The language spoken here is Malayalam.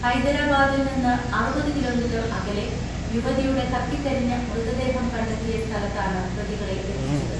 ഹൈദരാബാദിൽ നിന്ന് അറുപത് കിലോമീറ്റർ അകലെ യുവതിയുടെ കത്തിക്കരിഞ്ഞ മൃതദേഹം കണ്ടെത്തിയ സ്ഥലത്താണ് പ്രതികളെ എത്തിച്ചത്.